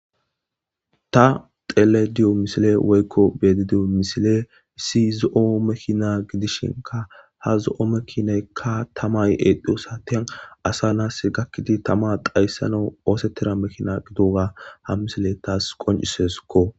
ta xelediyo misile woykko bedidiyo misile isi zo7o mekina gidishinka ha zo7o mekineykka tamay eedhiyo saten asa naas gakkidi tama dayssano oosettira mekina gidoga ha misile taas qonciseskko